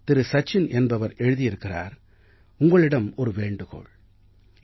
சச்சின் என்பவர் எழுதியிருக்கிறார் உங்களிடம் ஒரு வேண்டுகோள் இந்த